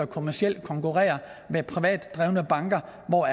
kommercielt konkurrere med privat drevne banker hvor